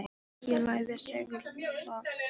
Ég lagði segulbandið á borðið. og þá gerðist það.